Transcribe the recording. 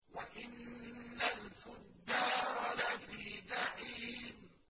وَإِنَّ الْفُجَّارَ لَفِي جَحِيمٍ